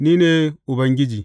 Ni ne Ubangiji.